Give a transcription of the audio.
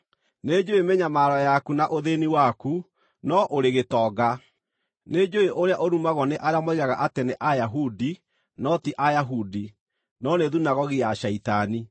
Nĩnjũũĩ mĩnyamaro yaku na ũthĩĩni waku, no ũrĩ gĩtonga! Nĩnjũũĩ ũrĩa ũrumagwo nĩ arĩa moigaga atĩ nĩ Ayahudi no ti Ayahudi, no nĩ thunagogi ya Shaitani.